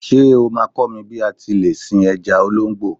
Ṣé o máa kọ́ mi bí a ti lè sin ẹja olóńgbò.?